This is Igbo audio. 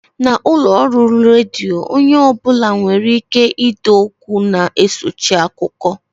N'ụlọọrụ redio, onye ọ bụla nwereike ide okwu na-esochi akụkọ